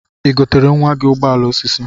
Igotere nwa gi ụgbọala osisi?